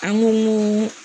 An ko